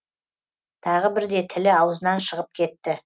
тағы бірде тілі аузынан шығып кетті